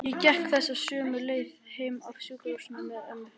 Ég gekk þessa sömu leið heim af sjúkrahúsinu með mömmu.